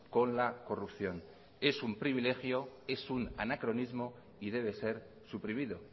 con la corrupción es un privilegio es un anacronismo y debe ser suprimido